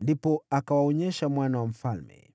Ndipo akawaonyesha mwana wa mfalme.